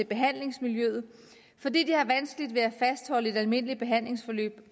behandlingsmiljøet fordi de har vanskeligt ved at fastholde et almindeligt behandlingsforløb